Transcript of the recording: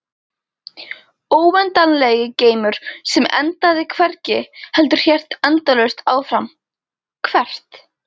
Óendanlegi geimur sem endaði hvergi heldur hélt endalaust áfram- hvert?